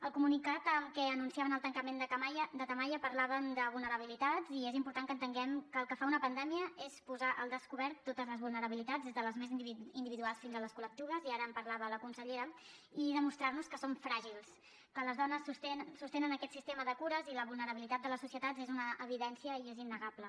al comunicat amb què anunciaven el tancament de tamaia parlaven de vulnerabilitats i és important que entenguem que el que fa una pandèmia és posar al descobert totes les vulnerabilitats des de les més individuals fins a les col·lectives i ara en parlava la consellera i demostrar nos que som fràgils que les dones sostenen aquest sistema de cures i la vulnerabilitat de les societats és una evidència i és innegable